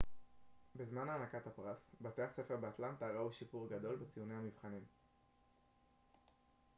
בזמן הענקת הפרס בתי הספר באטלנטה ראו שיפור גדול בציוני המבחנים